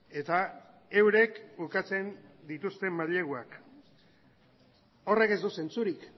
eta eurek ukatzen dituzte maileguak horrek ez du zentzurik